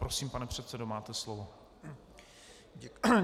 Prosím, pane předsedo, máte slovo.